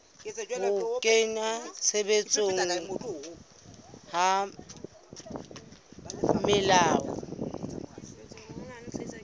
ho kenngwa tshebetsong ha melao